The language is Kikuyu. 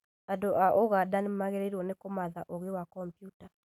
Andũ a ũganda nĩmagĩrĩirwo nĩ kũmatha ũgĩ wa komputa